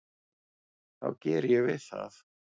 þá geri ég við það.